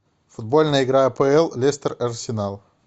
футбольная игра апл лестер арсенал